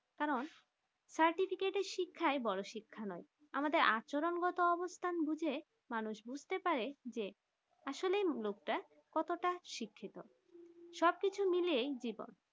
কারণ certificate শিক্ষার বড়ো শিক্ষা নয় আমাদের আচরণ গত অবস্থান বুঝে মানুষ বুছতে পারেন যে আসলে লোকটা কতটা শিক্ষিত সব কিছু মিলিয়ে জীবন